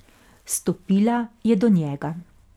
Stopila je do njega.